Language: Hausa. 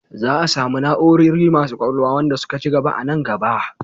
Za a samu na'orori masu ƙwaƙwalwa wanda suka ci gaba a nan gaba.